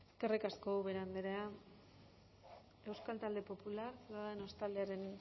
eskerrik asko eskerrik asko ubera andrea euskal talde popular ciudadanos taldearen